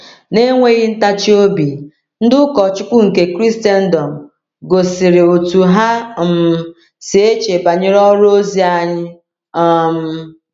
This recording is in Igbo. Na-enweghị ntachi obi, ndị ụkọchukwu nke Kraịstndọm gosiri otú ha um si eche banyere ọrụ ozi anyị. um